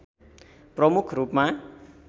प्रमुख रूपमा